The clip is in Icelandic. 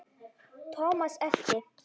Thomas elti.